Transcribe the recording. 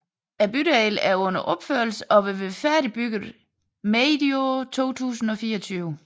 Bydelen er under opførelse og vil være færdigbygget medio 2024